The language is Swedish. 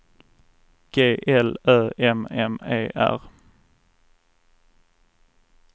G L Ö M M E R